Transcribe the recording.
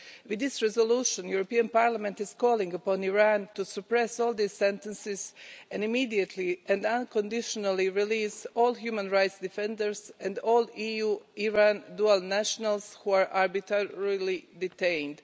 With this resolution, the European Parliament is calling upon Iran to suppress all these sentences and immediately and unconditionally release all human rights defenders and all EU Iran dual nationals who are arbitrarily detained.